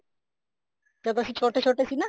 ਜਦ ਐਨ ਛੋਟੇ ਛੋਟੇ ਸੀ ਨਾ